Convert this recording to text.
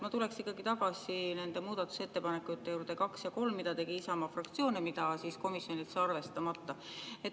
Ma tuleksin ikkagi tagasi nende muudatusettepanekute nr 2 ja 3 juurde, mille tegi Isamaa fraktsioon ja mille komisjon jättis arvestamata.